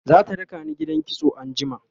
zata rakani gidan kitso anjima